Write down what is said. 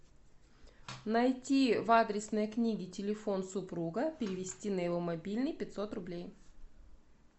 найти в адресной книге телефон супруга перевести на его мобильный пятьсот рублей